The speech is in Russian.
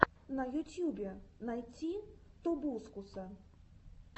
на ютьюбе найти тобускуса